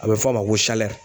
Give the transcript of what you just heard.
A bɛ fɔ a ma ko